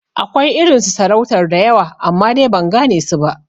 Akwai irin su sarautar da yawa amma, dai ban gane su ba